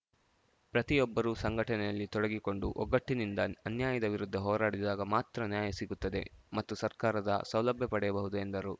ಪ್ರತಿಯೊಬ್ಬರೂ ಸಂಘಟನೆಯಲ್ಲಿ ತೊಡಗಿ ಕೊಂಡು ಒಗ್ಗಟ್ಟಿನಿಂದ ಅನ್ಯಾಯದ ವಿರುದ್ಧ ಹೋರಾಡಿದಾಗ ಮಾತ್ರ ನ್ಯಾಯ ಸಿಗುತ್ತದೆ ಮತ್ತು ಸರ್ಕಾರದ ಸೌಲಭ್ಯ ಪಡೆಯಬಹುದು ಎಂದರು